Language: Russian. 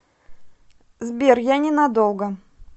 сбер я не надолго